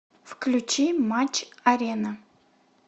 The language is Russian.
включи матч арена